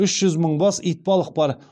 үш жүз мың бас итбалық бар